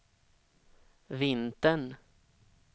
vintern